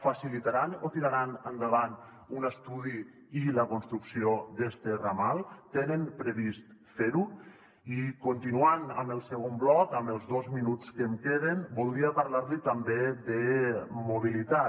facilitaran o tiraran endavant un estudi i la construcció d’este ramal tenen previst fer ho i continuant amb el segon bloc en els dos minuts que em queden voldria parlar li també de mobilitat